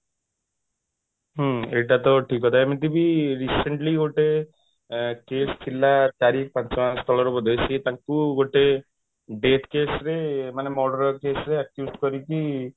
ହୁଁ ଏଇଟା ତ ଠିକ କଥା ଏମତି ବି recently ଗୋଟେ ଆଁ case ଥିଲା ଚାରି ପାଞ୍ଚ ମାସ ତଳରେ ବୋଧେ ସେ ତାଙ୍କୁ ଗୋଟେ death case ରେ ମାନେ murder case ରେ accused କରିକି